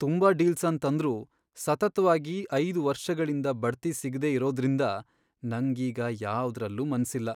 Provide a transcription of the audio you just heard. ತುಂಬಾ ಡೀಲ್ಸ್ ಅನ್ ತಂದ್ರೂ ಸತತವಾಗಿ ಐದು ವರ್ಷಗಳಿಂದ ಬಡ್ತಿ ಸಿಗ್ದೆ ಇರೋದ್ದ್ರಿಂದ ನಂಗ್ ಈಗ ಯಾವ್ದ್ರಲ್ಲೂ ಮನ್ಸಿಲ್ಲ.